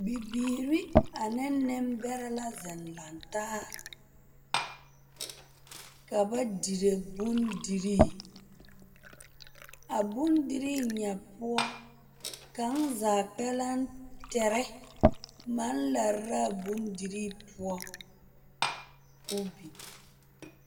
Bibiiri ane nembɛrɛ la seŋ lantaa ka ba dire bondirii a bondirii nya poɔ kaŋzaa pɛrɛtere maŋ lare la a bondirii poɔ k'o biŋ.